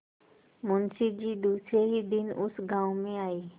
मुँशी जी दूसरे ही दिन उस गॉँव में आये